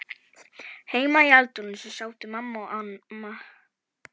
Heima í eldhúsi sátu mamma og amma.